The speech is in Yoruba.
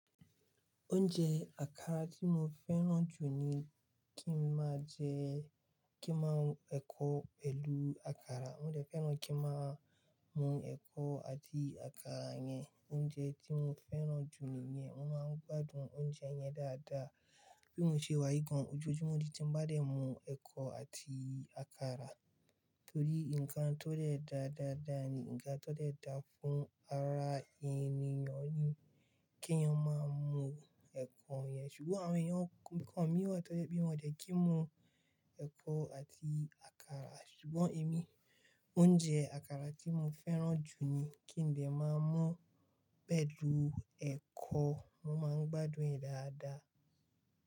Oúnjẹ àkàrà tí mo fẹ́ràn jù ni kí n máa jẹ, kí n máa mu ẹ̀kọ, pẹ̀lu àkàrà. Mo dè fẹ́ràn kí n máa mu ẹ̀kọ àti àkàrà yẹn, oúnjẹ tí mo fẹ́ràn jù níyẹn. Mo máa ń gbádùn oúnjẹ yẹn dáadáa. Bí mo ṣe wá yi gan òjòjúmọ́ di tí ń ba de mu ẹ̀kọ àti àkàrà, torí ǹkan tó de dáa dáadáa ni, ǹkan tó de dáa fún ara ènìyàn ni kí èèyàn máa mu ẹ̀kọ̀ yẹn. Ṣùgbọ́n àwọn èèyàn kọ̀ọ̀kan mìí wa tó jẹ́ pe wọ́n dẹ́ kí mu ẹ̀kọ àti àkàrà, ṣùgbọ́n èmi oúnjẹ àkàrà tí mo fẹ́ràn jù ni kí n dè máa mú pẹ̀lú ẹ̀kọ. Mo máa ń gbádùn ẹ̀ dáadáa.